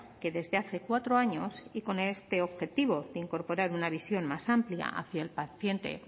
que desde hace cuatro años y con este objetivo de incorporar una visión más amplia hacia el paciente